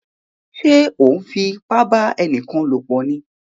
Ṣe o nfipa ba ẹnikan lopọ ní?